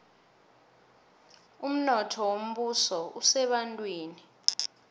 umnotho wombuso usebantwini